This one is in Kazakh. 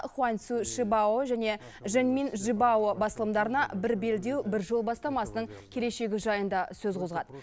хуанцю шибао мен жэньмин жибао басылымдарына бір белдеу бір жол бастамасының келешегі жайында сөз қозғады